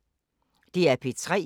DR P3